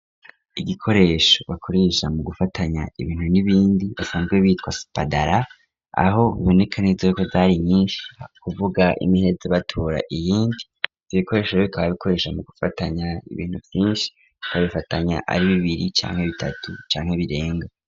Igikoresho bakurisha mu gufatanya ibintu n'ibindi basanzwe bitwa spadala aho myonekaniza yuko zari nyinshi kuvuga imiheza batura iyindi zibikoresho bikaba bikoresha mu gufatanya ibintu vyinshi kabifatanya ari bibiri canke bitatu canke birenga.